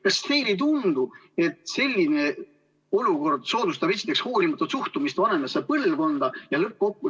Kas teile ei tundu, et selline olukord soodustab hoolimatut suhtumist vanemasse põlvkonda?